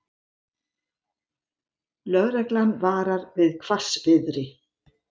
Lögreglan varar við hvassviðri